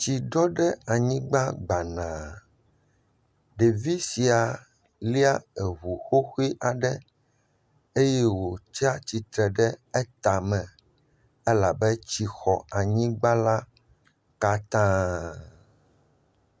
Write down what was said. Tsi ɖɔ ɖe anyigba gbana. Ɖevi sia lia eŋu xoxo aɖe eye wotsi atsitre ɖe etame. Elabe tsi xɔ anyigba la katã.